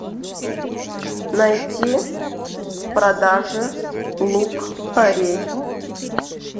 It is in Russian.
найти в продаже лук порей